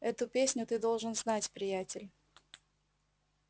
эту песню ты должен знать приятель